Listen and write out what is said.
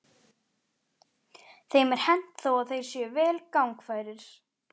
Þeim er hent þó að þeir séu vel gangfærir.